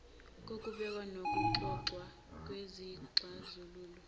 kokubekwa nokuxoxwa kwezixazululo